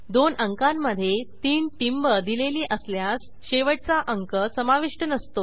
दोन अंकांमधे 3 टिंब दिलेली असल्यास शेवटचा अंक समाविष्ट नसतो